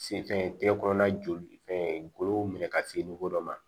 Sen fɛn tɛ kɔnɔna joli fɛn golo minɛ ka se dɔ ma